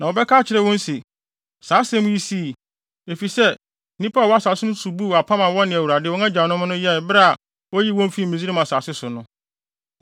Na wɔbɛka akyerɛ wɔn se, “Saa asɛm yi sii, efisɛ nnipa a wɔwɔ asase no so buu apam a wɔne Awurade, wɔn agyanom Nyankopɔn no, yɛe bere a oyii wɔn fii Misraim asase so no.